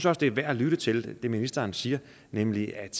at det er værd at lytte til det ministeren siger nemlig at